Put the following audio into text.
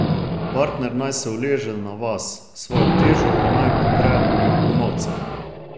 Partner naj se uleže na vas, svojo težo pa naj opre na komolce.